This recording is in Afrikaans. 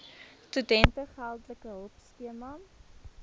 studente geldelike hulpskema